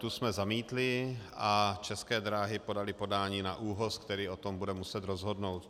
Tu jsme zamítli a České dráhy podaly podání na ÚOHS, který o tom bude muset rozhodnout.